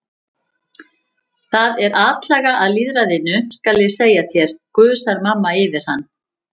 Það er atlaga að lýðræðinu, skal ég segja þér, gusar mamma yfir hann.